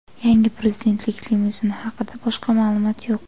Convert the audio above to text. Yangi prezidentlik limuzini haqida boshqa ma’lumot yo‘q.